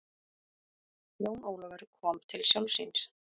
Jón Ólafur kom til sjálfs sín.